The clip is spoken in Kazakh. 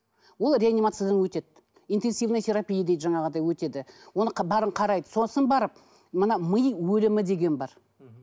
ол реанимациядан өтеді интенсивный терапия дейді жаңағыдай өтеді оны бәрін қарайды сосын барып мына ми өлімі деген бар мхм